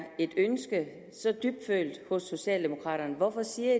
et så dybfølt ønske hos socialdemokraterne hvorfor siger